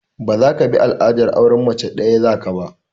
Ba zaka bi al'adar auren mace ɗaya za ka ba!